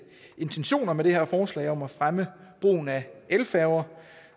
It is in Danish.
intentioner med det her forslag om at fremme brugen af færger